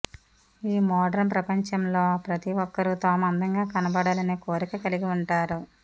ఈ మోడ్రన్ ప్రపంచంలో ప్రతి ఒక్కరూ తాము అందంగా కనబడాలనే కోరిక కలిగి ఉంటారు